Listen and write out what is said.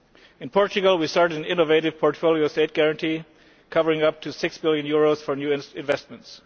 In Portugal we started an innovative portfolio state guarantee covering up to EUR6 billion for new investments.